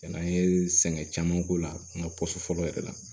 Yann'an ye sɛgɛn caman k'o la an ka fɔlɔ yɛrɛ la